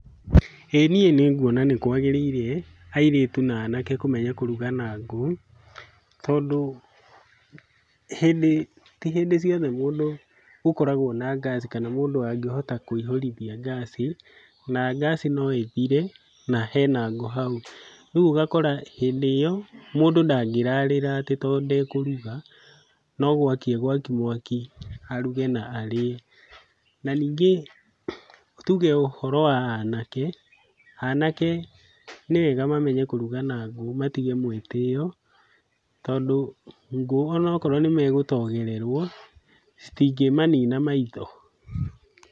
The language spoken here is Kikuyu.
Ĩ niĩ nĩngwona nĩ kwagĩrĩire airĩtu na anake kũmenya kũruga na ngũ. Tondũ ti hĩndĩ ciothe mũndũ ũkoragwo na ngaci kana mũndũ angĩhota kũihũrithia ngaci. Na ngaci no ĩthire na hena ngũ hau. Rĩu ũgakora hĩndĩ ĩo mũndũ ndangĩrarĩra tondũ ndekũruga nogwaki egwaki mwaki aruge na arĩe. Na ningĩ tuge ũhoro wa anake, anake nĩwega mamenye kũruga na ngũ matige mwĩtĩo tondũ, ngũ onakorwo nĩmegũtogererwo citingĩmanina maitho.